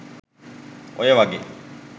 ඔය වගේ